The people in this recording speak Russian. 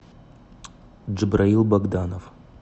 джабраил богданов